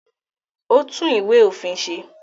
Ó tún Ìwé-òfin ṣe?